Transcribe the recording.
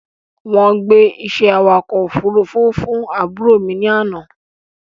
Wọ́n gbé iṣẹ́ awakọ̀ ofúrufú fún àbúrò mi ní àná